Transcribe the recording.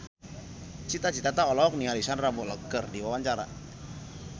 Cita Citata olohok ningali Sandar Bullock keur diwawancara